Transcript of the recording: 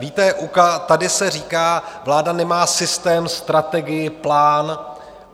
Víte, tady se říká: Vláda nemá systém, strategii, plán.